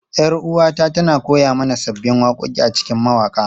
Yar uwata tana koya mana sabbin waƙoƙi a cikin mawaƙa.